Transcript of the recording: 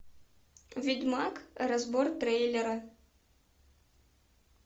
ведьмак разбор трейлера